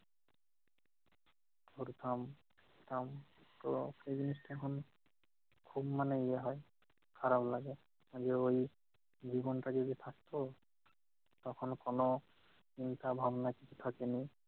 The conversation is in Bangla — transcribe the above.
পড়তাম পড়তাম, তো সেই জিনিসটা এখন খুব মানে ইয়ে হয় খারাপ লাগে, যে ওই জীবন তা যদি থাকত, তখন কোন চিন্তা ভাবনা কিছু থাকে নি।